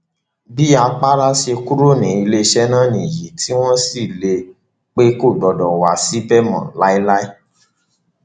bí àpárá ṣe kúrò ní iléeṣẹ náà nìyí tí wọn sì lé e pé kò gbọdọ wá síbẹ mọ láéláé